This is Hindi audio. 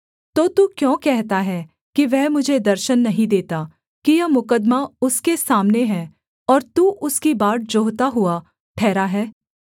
तो तू क्यों कहता है कि वह मुझे दर्शन नहीं देता कि यह मुकद्दमा उसके सामने है और तू उसकी बाट जोहता हुआ ठहरा है